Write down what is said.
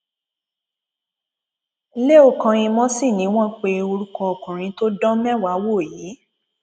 leo kànyìmọ sì ni wọn pe orúkọ ọkùnrin tó dán mẹwàá wò yìí